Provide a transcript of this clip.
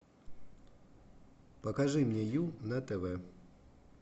покажи мне ю на тв